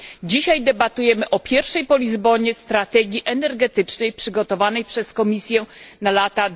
Dzisiaj debatujemy o pierwszej po Lizbonie strategii energetycznej przygotowanej przez Komisję na lata